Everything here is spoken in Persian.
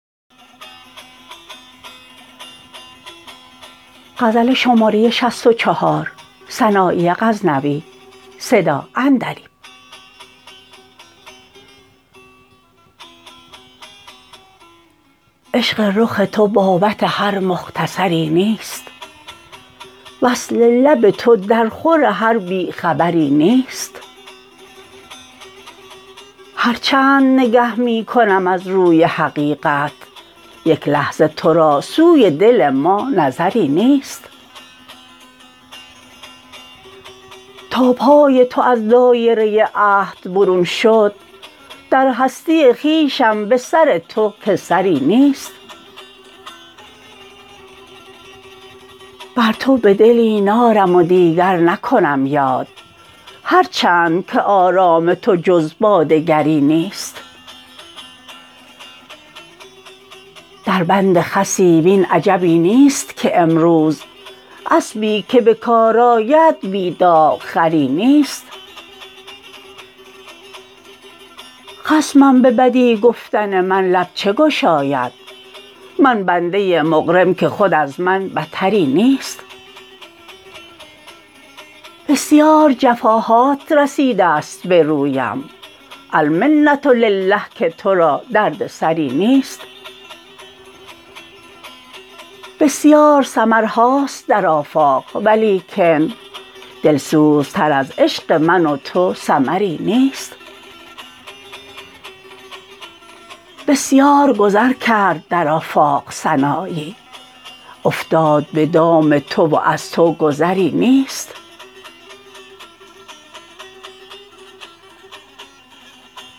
عشق رخ تو بابت هر مختصری نیست وصل لب تو در خور هر بی خبری نیست هر چند نگه می کنم از روی حقیقت یک لحظه ترا سوی دل ما نظری نیست تا پای تو از دایره عهد برون شد در هستی خویشم به سر تو که سری نیست بر تو بدلی نارم و دیگر نکنم یاد هر چند که آرام تو جز باد گری نیست در بند خسی وین عجبی نیست که امروز اسبی که به کار آید بی داغ خری نیست خصم به بدی گفتن من لب چه گشاید من بنده مقرم که خود از من بتری نیست بسیار جفا هات رسیدست به رویم المنة الله که ترا دردسری نیست بسیار سمرهاست در آفاق ولیکن دلسوزتر از عشق من و تو سمری نیست بسیار گذر کرد در آفاق سنایی افتاد به دام تو و از تو گذری نیست